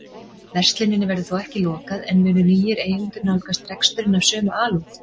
Versluninni verður þó ekki lokað en munu nýir eigendur nálgast reksturinn af sömu alúð?